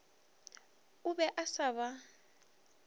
o be a sa ba